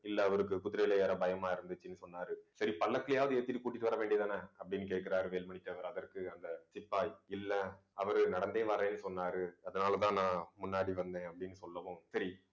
இல்லை அவருக்கு குதிரையில ஏற பயமா இருந்துச்சுன்னு சொன்னாரு. சரி பல்லக்குலயாவது ஏத்திட்டு, கூட்டிட்டு வர வேண்டியதுதானே அப்படின்னு கேட்கிறாரு வேலுமணி தேவர் அதற்கு அந்த சிப்பாய் இல்லை அவரு நடந்தே வரேன்னு சொன்னாரு. அதனாலேதான் நான் முன்னாடி வந்தேன் அப்படின்னு சொல்லவும் சரி